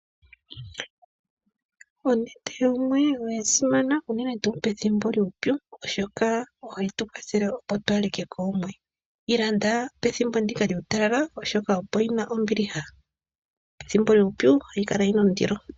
Onete yoomwe oyasimana uunene tu pethimbo lyuupyu oshoka ohayi tukwathele opo twahalike koomwe. Yi landa pethimbo ndika lyuutalala oshoka opo yina ombiliha, pethimbo lyuupyu ohayi kala yina ondilo.